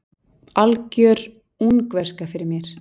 Algjör ungverska fyrir mér.